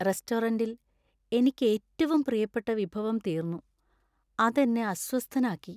റെസ്റ്റോറന്റിൽ എനിക്ക് ഏറ്റവും പ്രിയപ്പെട്ട വിഭവം തീർന്നു, അത് എന്നെ അസ്വസ്ഥനാക്കി.